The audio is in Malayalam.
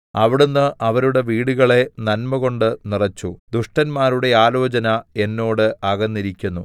അവിടുന്ന് അവരുടെ വീടുകളെ നന്മകൊണ്ട് നിറച്ചു ദുഷ്ടന്മാരുടെ ആലോചന എന്നോട് അകന്നിരിക്കുന്നു